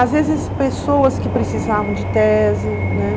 Às vezes, pessoas que precisavam de tese, né?